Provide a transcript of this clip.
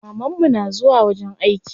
Maman mu na zuwa wajen aiki.